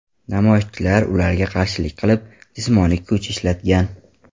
Namoyishchilar ularga qarshilik qilib, jismoniy kuch ishlatgan.